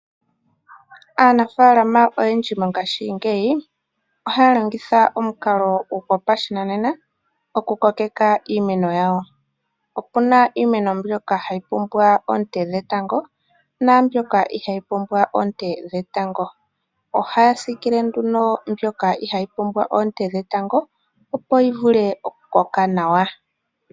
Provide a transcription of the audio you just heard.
Aanafaalama oyendji mongashingeyi ohaya longitha omukalo gopashinanena okukokeka iimeno yawo. Ope na iimeno mbyoka hayi pumbwa oonte dhetango naambyoka ihayi pumbwa oonte dhetango. Ohaya siikile nduno mbyoka ihayi pumbwa oonte dhetango, opo yi vule okukoka nawa.